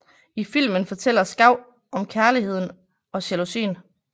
I filmen fortæller Schau om kærligheden og jalousien